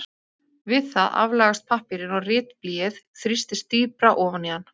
Við það aflagast pappírinn og ritblýið þrýstist dýpra ofan í hann.